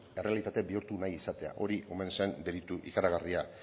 errealitate bihurtu nahi izatea hori omen zen delitu ikaragarria